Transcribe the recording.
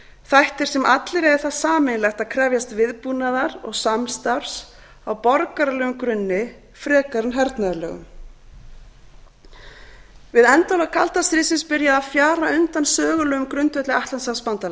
þætti sem allir eiga það sameiginlegt að krefjast viðbúnaðar og samstarfs á borgaralegum grunni frekar en hernaðarlegum við endalok kalda stríðsins byrjaði að fjara undan sögulegum grundvelli